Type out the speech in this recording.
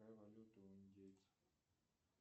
какая валюта у индейцев